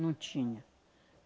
Não tinha.